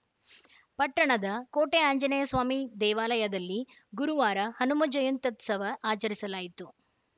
ಪಟ್ಟಣದ ಕೋಟೆ ಆಂಜನೇಯಸ್ವಾಮಿ ದೇವಾಲಯದಲ್ಲಿ ಗುರುವಾರ ಹನುಮ ಜಯಂತ್ಯುತ್ಸವ ಆಚರಿಸಲಾಯಿತು